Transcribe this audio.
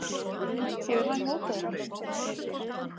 Hefur hann hótað okkur?